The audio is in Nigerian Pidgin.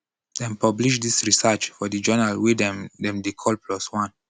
dem publish dis research for di journal wey dem dem dey call plos one